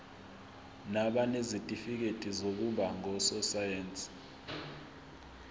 nabanezitifikedi zokuba ngososayense